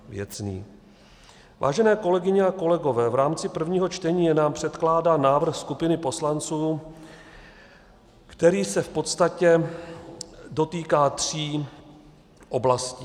Vážené kolegyně a kolegové, v rámci prvního čtení je nám předkládán návrh skupiny poslanců, který se v podstatě dotýká tří oblasti.